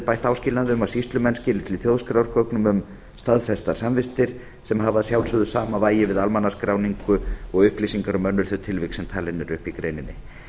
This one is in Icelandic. bætt áskilnaði um að sýslumenn skili til þjóðskrár gögnum um staðfestar samvistir sem hafa að sjálfsögðu sama vægi við almannaskráningu og upplýsingar um önnur þau tilvik sem talin eru upp í greininni